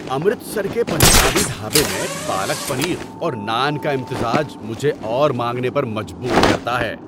امرتسر کے پنجابی ڈھابے میں پالک پنیر اور نان کا امتزاج مجھے اور مانگنے پر مجبور کرتا ہے۔